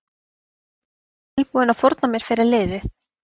Tilbúinn að fórna mér fyrir liðið